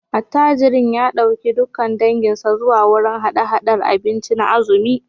Attajirin ya dauki dukkan danginsa zuwa wurin hada-hadar abinci na azumi